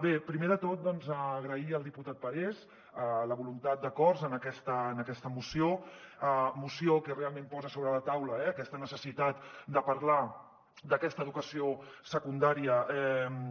bé primer de tot agrair al diputat parés la voluntat d’acords en aquesta moció moció que realment posa sobre la taula eh aquesta necessitat de parlar d’aquesta educació secundària